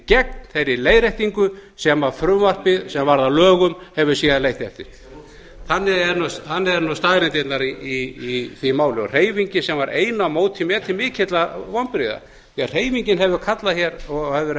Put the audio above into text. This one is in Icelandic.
gegn þeirri leiðréttingu sem frumvarpið sem varð að lögum hefur síðan leitt eftir þannig eru nú staðreyndirnar í því máli hreyfingin sem var ein á móti mér til mikilla vonbrigða því að hreyfingin hefur kallað hér og það hefur verið